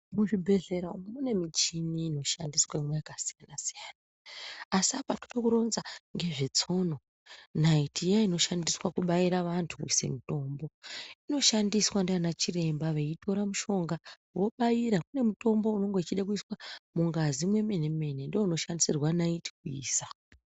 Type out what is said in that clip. Muzvibhedhlera umu mune mishini inoshandiswemwo yakasiyana siyana. Asi apa ndodekuronza nezvetsono nariti iya inoshandiswe kubayira wantu kuisa mitombo . Inoshandiswa nganachiremba veyitore mushonga veyibayira. Kune mitombo inenge ichida kuiswa mungazi mwemene mene ndowo unoshandisirwa nayiti kuisa.